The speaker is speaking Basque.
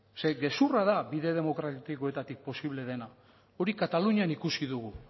zeren gezurra da bide demokratikoetatik posible dena hori katalunian ikusi dugu